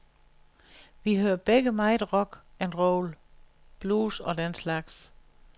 Vi hører begge meget rock and roll, blues og den slags.